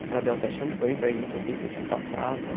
O cara deu até champanhe para gente, assim, que eu tinha passado e tal.